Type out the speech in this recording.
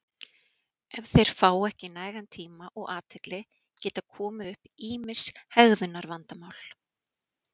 Ef þeir fá ekki nægan tíma og athygli geta komið upp ýmis hegðunarvandamál.